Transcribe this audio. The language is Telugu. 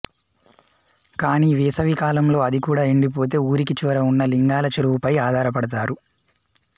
కానీ వేసవికాలంలో అదికూడా ఎండి పోతే ఊరికి చివర ఉన్న లింగాలచెరువు పై ఆధారపడతారు